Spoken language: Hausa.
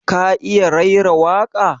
Ka iya raira waƙa?